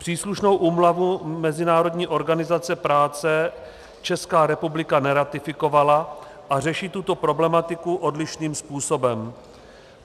Příslušnou úmluvu Mezinárodní organizace práce Česká republika neratifikovala a řeší tuto problematiku odlišným způsobem.